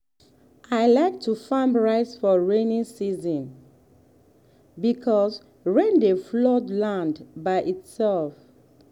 i like to farm rice for rainy season because rain dey flood land by itself.